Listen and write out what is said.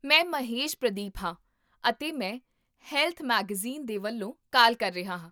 ਮੈਂ ਮਹੇਸ਼ ਪ੍ਰਦੀਪ ਹਾਂ, ਅਤੇ ਮੈਂ ਹੈਲਥ ਮੈਗਜ਼ੀਨ ਦੇ ਵੱਲੋਂ ਕਾਲ ਕਰ ਰਿਹਾ ਹਾਂ